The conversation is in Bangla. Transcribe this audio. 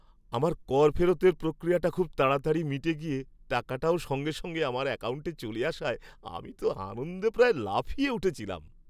আমার কর ফেরতের প্রক্রিয়াটা খুব তাড়াতাড়ি মিটে গিয়ে টাকাটাও সঙ্গে সঙ্গে আমার অ্যাকাউন্টে চলে আসায় আমি তো আনন্দে প্রায় লাফিয়ে উঠেছিলাম।